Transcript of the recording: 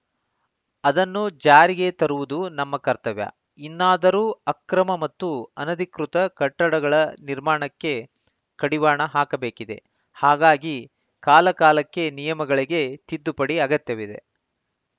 ಅದನ್ನು ಜಾರಿಗೆ ತರುವುದು ನಮ್ಮ ಕರ್ತವ್ಯ ಇನ್ನಾದರೂ ಅಕ್ರಮ ಹಾಗೂ ಅನಧಿಕೃತ ಕಟ್ಟಡಗಳ ನಿರ್ಮಾಣಕ್ಕೆ ಕಡಿವಾಣ ಹಾಕಬೇಕಿದೆ ಹಾಗಾಗಿ ಕಾಲಕಾಲಕ್ಕೆ ನಿಯಮಗಳಿಗೆ ತಿದ್ದುಪಡಿ ಅಗತ್ಯವಿದೆ